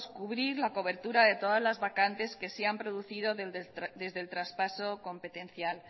cubrir la cobertura de todas las vacantes que se han producido desde el traspaso competencial